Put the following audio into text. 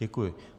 Děkuji.